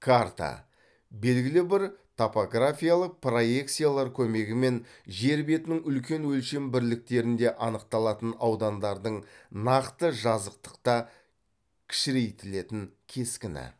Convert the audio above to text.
карта белгілі бір топографиялық проекциялар көмегімен жер бетінің үлкен өлшем бірліктерінде анықталатын аудандардың нақты жазықтықта кішірейтілетін кескіні